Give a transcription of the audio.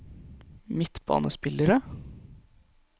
midtbanespillere